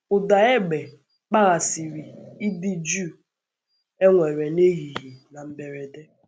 Ụ̀da égbé kpaghasìrì ịdị jụụ e nwerè n’ehihie na mberèdè.